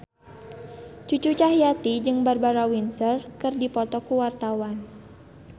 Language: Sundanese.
Cucu Cahyati jeung Barbara Windsor keur dipoto ku wartawan